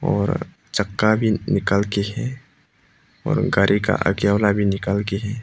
और चक्का भी निकल के है और गाड़ी का आगे वाला भी निकल के है।